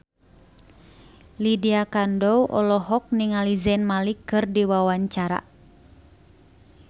Lydia Kandou olohok ningali Zayn Malik keur diwawancara